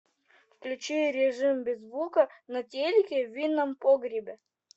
включи режим без звука на телике в винном погребе